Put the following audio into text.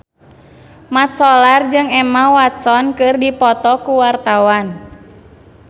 Mat Solar jeung Emma Watson keur dipoto ku wartawan